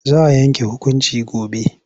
Za a yanke hukunci gobe.